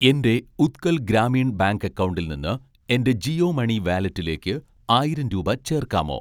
എൻ്റെ ഉത്കൽ ഗ്രാമീൺ ബാങ്ക് അക്കൗണ്ടിൽ നിന്ന് എൻ്റെ ജിയോ മണി വാലറ്റിലേക്ക് ആയിരം രൂപ ചേർക്കാമോ